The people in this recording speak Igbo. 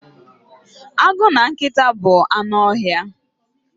Agụ na nkịta bụ anụ ọhịa.